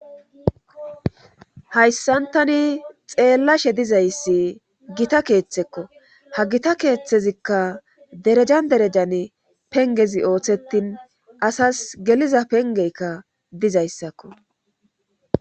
hayssantani xeellashe dizayssi gita keeththekko ha gita keeththezikka derejan derejane pengezi ooththettin asas geliza pengeykka dizayssakko